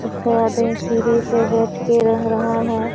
लगता है आदमी सीढ़ी पे बैठ के रंग रहा है।